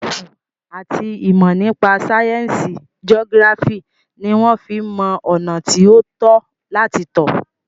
Máàpù àti ìmọ̀ nípa sáyẹnsì geography ní wọ́n fí ń mọ ọ̀nà tí o tọ́ láti tọ̀.